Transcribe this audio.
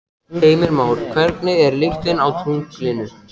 Heimir Már: Hvernig er lyktin á tunglinu?